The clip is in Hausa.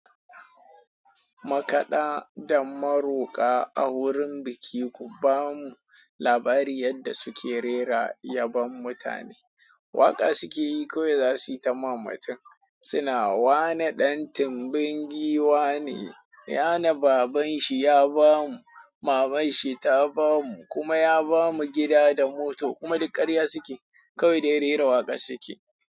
Makaɗa da maroƙa a wurin biki, ku ba mu labari yadda suke rera yabon mutane. Waƙa suke yi kawai za su yi ta ma mutum. Suna, "Wa ne ɗan tumbin giwa ne? Ya na babanshi ya ba mu, mamanshi ta ba mu, kuma ya ba mu gida da mota kuma duk ƙarya suke. Kawai dai rera waƙar suke."